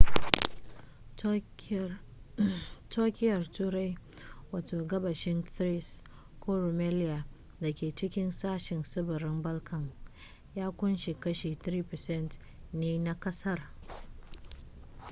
turkiyyar turai wato gabashin thrace ko rumelia da ke cikin sashen tsibirin balkan ya kunshi kashi 3% ne na ƙasar